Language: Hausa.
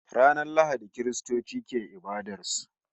Ranar Lahadi Kiristoci ke ibadar su